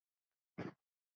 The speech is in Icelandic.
Rebekka og Smári.